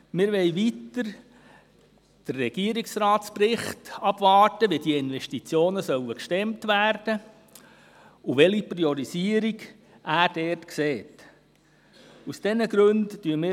Weiter wollen wir den Bericht des Regierungsrates abwarten, um zu erfahren, wie diese Investitionen gestemmt werden sollen und welche Priorisierung er vornehmen will.